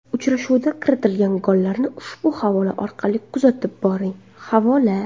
Uchrashuvda kiritilgan gollarni ushbu havola orqali kuzatib boring Havola !